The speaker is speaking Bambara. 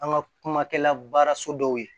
An ka kuma kɛla baaraso dɔw ye